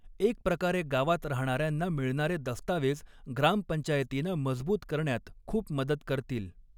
एक प्रकारे गावात राहणाऱ्यांना मिळणारे दस्तावेज़ ग्राम पंचायतीना मजबूत करण्यात खूप मदत करतील.